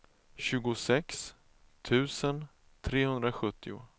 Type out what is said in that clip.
tjugosex tusen trehundrasjuttio